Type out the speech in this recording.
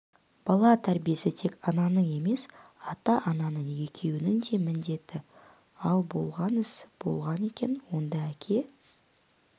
бала тәрбиесі тек ананың емес ата-ананың екеуінің де міндеті ал болған іс болған екен онда әке